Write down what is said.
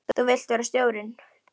Þú vilt vera stjórinn?